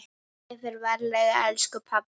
Ég fer varlega elsku pabbi.